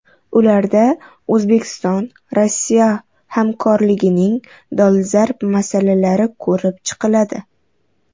Ularda O‘zbekistonRossiya hamkorligining dolzarb masalalari ko‘rib chiqiladi.